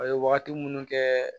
A ye wagati munnu kɛ